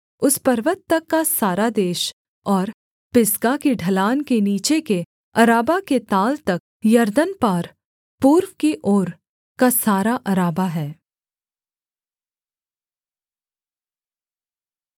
उस पर्वत तक का सारा देश और पिसगा की ढलान के नीचे के अराबा के ताल तक यरदन पार पूर्व की ओर का सारा अराबा है